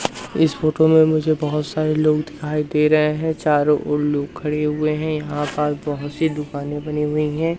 इस फोटो में मुझे बहोत सारे लोग दिखाई दे रहे हैं चारों ओर लोग खड़े हुए हैं यहां पर बहुत सी दुकानें बनी हुई हैं।